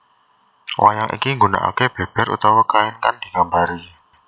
Wayang iki nggunaake beber utawa kain kang digambari